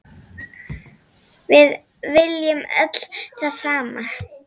Við viljum öll það sama.